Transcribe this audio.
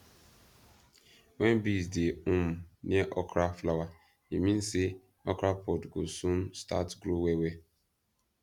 when bees dey um near okra flower e mean say okra pod go soon start grow well well